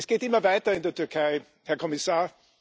Es geht immer weiter in der Türkei, Herr Kommissar